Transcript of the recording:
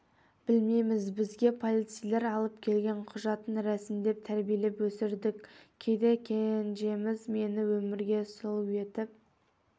білмейміз бізге полицейлер алып келген құжатын рәсімдеп тәрбиелеп өсірдік кейде кенжеміз мені өмірге сұлу етіп